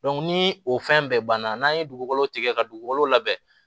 ni o fɛn bɛɛ banna n'an ye dugukolo tigɛ ka dugukolo labɛn